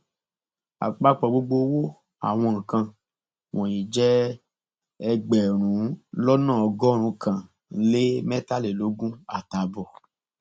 àpapọ gbogbo owó àwọn nǹkan wọnyí jẹ ẹgbẹrún lọnà ọgọrùnún kan lé mẹtàlélógún àtààbọ